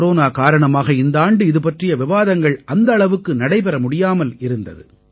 corona காரணமாக இந்த ஆண்டு இதுபற்றிய விவாதங்கள் அந்த அளவுக்கு நடைபெற முடியாமல் இருந்தது